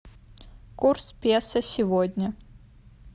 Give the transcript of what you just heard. курс песо сегодня